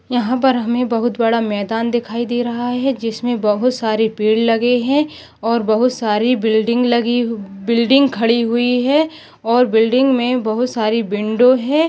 यहाँ पर हमे बहुत बड़ा मैदान दिखाई दे रहा है जिसमें बहुत सारी पेड़ लगे है और बहुत सारी बिल्डिंग लगी हू बिल्डिंग खड़ी हुई है और बिल्डिंग मे बहुत सारी विंडो है।